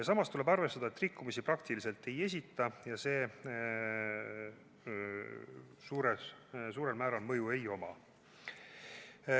Samas tuleb arvestada, et rikkumisi praktiliselt ei esine ja sellel suurt mõju ei ole.